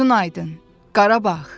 Gözün aydın Qarabağ.